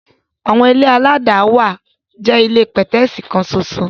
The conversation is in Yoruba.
Àwọn ilé aládàáwà jẹ́ ilé pẹ̀tẹ́ẹ̀sì kan ṣoṣo.